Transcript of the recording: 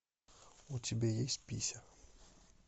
у тебя есть пися